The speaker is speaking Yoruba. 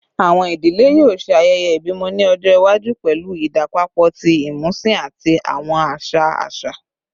Awọn idile yoo ṣe ayẹyẹ ibimọ ni ọjọ iwaju pẹlu idapọpọ ti imusin ati awọn aṣa aṣa